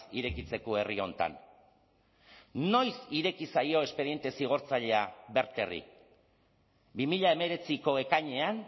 irekitzeko herri honetan noiz ireki zaio espediente zigortzailea verterri bi mila hemeretziko ekainean